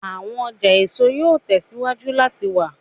Awọn ọja eso yoo tẹsiwaju lati wa